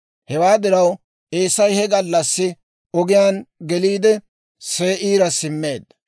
Hewaa diraw Eesay he gallassi ogiyaan geliide, Se'iira simmeedda.